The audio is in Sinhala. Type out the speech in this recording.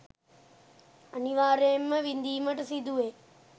අනිවාර්යයෙන්ම විඳීමට සිදුවේ.